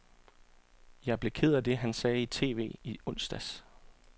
Jeg blev ked af det, sagde han i TV i onsdags.